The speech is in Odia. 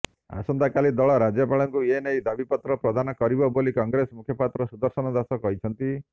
ଆସନ୍ତାକାଲି ଦଳ ରାଜ୍ୟପାଳଙ୍କୁ ଏନେଇ ଦାବିପତ୍ର ପ୍ରଦାନ କରିବ ବୋଲି କଂଗ୍ରେସ ମୁଖପାତ୍ର ସୁଦର୍ଶନ ଦାସ କହିଛନ୍ତି